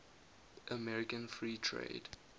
american free trade